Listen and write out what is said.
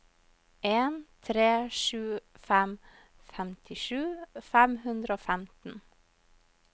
en tre sju fem femtisju fem hundre og femten